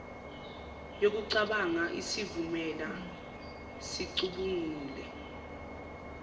yokucabanga isivumela sicubungule